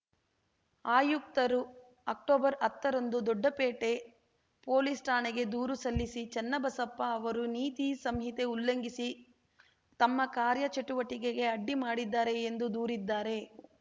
ಆಯುಕ್ತರು ಅಕ್ಟೊಬರ್ ಹತ್ತ ರಂದು ದೊಡ್ಡಪೇಟೆ ಪೊಲೀಸ್‌ ಠಾಣೆಗೆ ದೂರು ಸಲ್ಲಿಸಿ ಚೆನ್ನಬಸಪ್ಪ ಅವರು ನೀತಿ ಸಂಹಿತೆ ಉಲ್ಲಂಘಿಸಿ ತಮ್ಮ ಕಾರ್ಯಚಟುವಟಿಕೆಗೆ ಅಡ್ಡಿ ಮಾಡಿದ್ದಾರೆ ಎಂದು ದೂರಿದ್ದಾರೆ